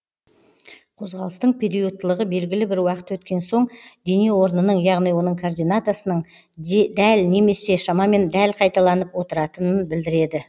қозғалыстың периодтылығы белгілі бір уақыт өткен соң дене орнының яғни оның координатасының дәл немесе шамамен дәл қайталанып отыратынын білдіреді